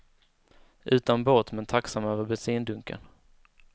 Utan båt, men tacksam över bensindunken.